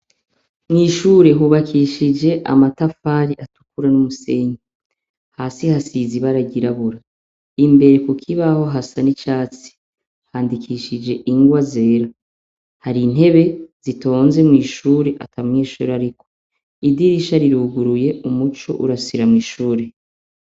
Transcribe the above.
Mw'ishure hubakishije amatafari atukura n'umusenyi hasi hasi zibaragirabura imbere ku kibaho hasa n'icatsi handikishije ingwa zera hari intebe zitonze mw'ishure atamwishura, ariko idirisha riruguruye umuco urasira mw'ishure.